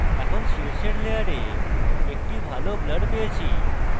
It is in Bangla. এখন আমরা শীর্ষের layer একটি ভালো blur পেয়েছি